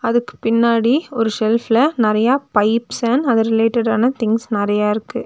அதுக்குப் பின்னாடி ஒரு செல்ஃப்ல நறயா பைப்ஸ் அண்ட் அது ரிலேட்டடான திங்ஸ் நறயா இருக்கு.